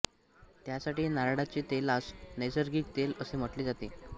यासाठी नारळाचे तेलास नैसर्गिक तेल असे म्हटले जाते